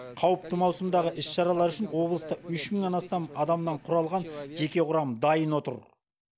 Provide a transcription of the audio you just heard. қауіпті маусымдағы іс шаралары үшін облыстық үш мыңнан астам адамнан құралған жеке құрам дайын отыр